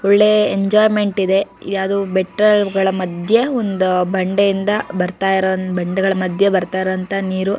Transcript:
ಒಳ್ಳೆ ಎಂಜೋಯ್ಮೆಂಟ್ ಇದೆ ಯಾವ್ದೋ ಬೆಟ್ಟಗಳ ಮದ್ಯೆ ಒಂದು ಬಂಡೆಗಳ ಮದ್ಯೆ ಬರ್ತಾ ಇರೋ ನೀರು--